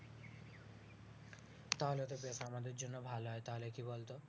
তাহলে তো বেশ আমাদের জন্য ভালো হয় তাহলে কি বলতো